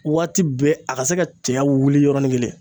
Waati bɛɛ a ka se ka cɛɲa wuli yɔrɔnin kelen